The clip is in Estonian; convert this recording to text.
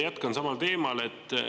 Jätkan samal teemal.